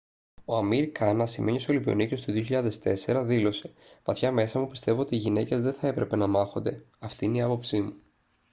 ο amir khan ασημένιος ολυμπιονίκης του 2004 δήλωσε «βαθιά μέσα μου πιστεύω ότι οι γυναίκες δεν θα έπρεπε να μάχονται. αυτή είναι η άποψή μου»